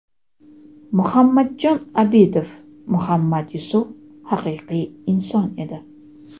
Muhammadjon Obidov: Muhammad Yusuf haqiqiy inson edi.